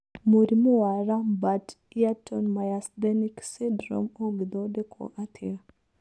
Mũrimũ wa Lambert Eaton myasthenic syndrome ũngĩthondekwo atĩa?